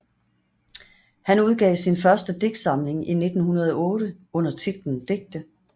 Han udgav sin første digtsamling i 1908 under titlen Digte